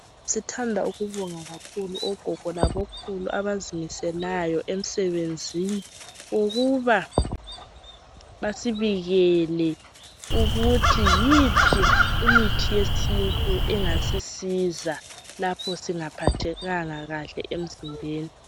Sithanda ukubonga kakhulu ogogo labokhulu abazimiselayo emsebenzini ukuba basibikele ukuthi yiphi imithi yesintu engasisiza lapho singaphathekanga kuhle emzimbeni.